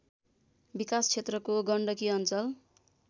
विकासक्षेत्रको गण्डकी अञ्चल